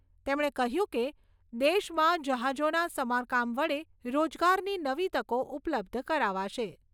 તેમણે કહ્યું કે, દેશમાં જહાજોના સમારકામ વડે રોજગારની નવી તકો ઉપલબ્ધ કરાવાશે.